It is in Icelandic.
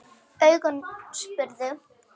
Augun spurðu.